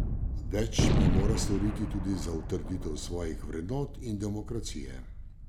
Več pa mora storiti tudi za utrditev svojih vrednot in demokracije.